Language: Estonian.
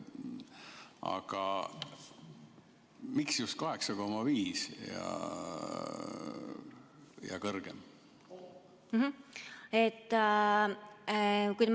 Aga miks just 8,5% ja kõrgem?